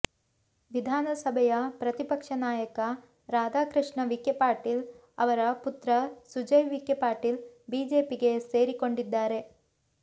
ವಿಧಾನಸಭೆಯ ಪ್ರತಿಪಕ್ಷ ನಾಯಕ ರಾಧಾಕೃಷ್ಣ ವಿಖೆ ಪಾಟೀಲ್ ಅವರ ಪುತ್ರ ಸುಜಯ್ ವಿಖೆ ಪಾಟೀಲ್ ಬಿಜೆಪಿಗೆ ಸೇರಿಕೊಂಡಿದ್ದಾರೆ